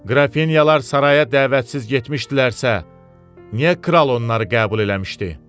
Qrafinyalar saraya dəvətsiz getmişdilərsə, niyə kral onları qəbul eləmişdi?